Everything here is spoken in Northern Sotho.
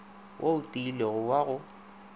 wo o tiilego wa go